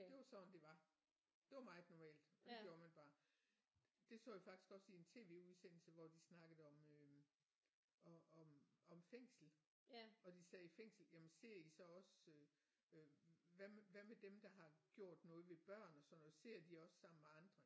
Det var sådan det var det var meget normalt og det gjorde man bare det så jeg faktisk også i en TV-udsendelse hvor de snakkede om øh om om fængsel hvor de sagde fængsel jamen ser I så også øh hvad med hvad med dem der har gjort noget ved børn og sådan noget sidder de også sammen med andre